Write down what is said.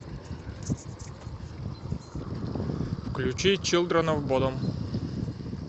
включи чилдрен оф бодом